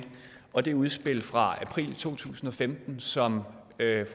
og det udspil fra april to tusind og femten som